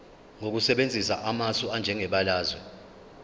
ngokusebenzisa amasu anjengebalazwe